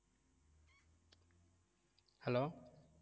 hello